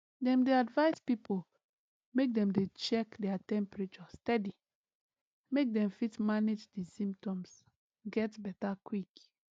dem dey advise pipo make dem dey check their temperature steady make dem fit manage di symptoms get beta quick